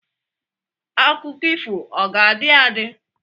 Akụkọ ifo ahụ ọ ga-adị adị?